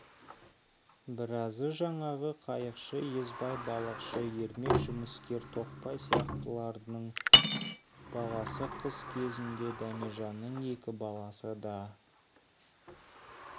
біразы жаңағы қайықшы есбай балықшы ермек жұмыскер тоқбай сияқтылардың баласы қыс кезінде дәмежанның екі баласы да